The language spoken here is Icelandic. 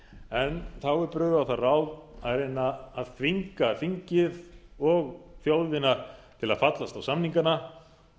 en þá er brugðið á það ráð að reyna að þvinga þingið og þjóðina til að fallast á samningana